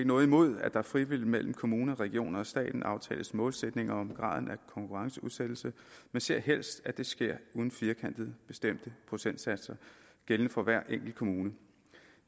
noget imod at der frivilligt mellem kommuner regioner og staten aftales målsætninger om graden af konkurrenceudsættelse men ser helst at det sker uden firkantede bestemte procentsatser gældende for hver enkelt kommune